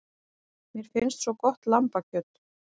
Mér finnst svo gott lambakjöt.